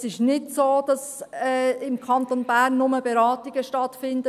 Es ist nicht so, dass im Kanton Bern zur Prävention nur Beratungen stattfinden.